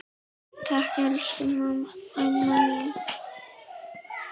Takk, elsku amma mín.